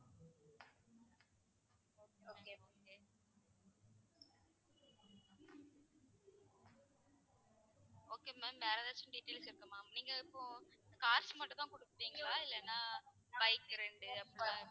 okay ma'am வேற எதாச்சும் detail கேக்கணுமா? நீங்க இப்போ cars மட்டும் தான் குடுக்குறிங்களா இல்லைன்னா bike rent டு